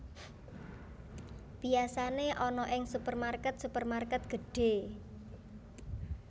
Biyasane ana ing supermarket supermarket gedhe